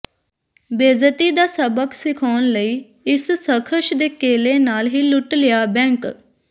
ਬੇਇੱਜ਼ਤੀ ਦਾ ਸਬਕ ਸਿਖਾਉਣ ਲਈ ਇਸ ਸ਼ਖ਼ਸ ਨੇ ਕੇਲੇ ਨਾਲ ਹੀ ਲੁੱਟ ਲਿਆ ਬੈਂਕ